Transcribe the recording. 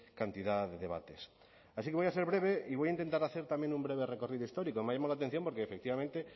cantidad de debates así que voy a ser breve y voy a intentar hacer también un breve recorrido histórico me ha llamado la atención porque efectivamente